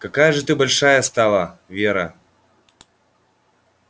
какая же ты большая стала вера